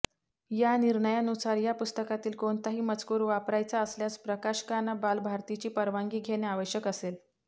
या निर्णयानुसार या पुस्तकातील कोणताही मजूकर वापरायचा असल्यास प्रकाशकांना बालभारतीची परवानगी घेणे आवश्यक असेल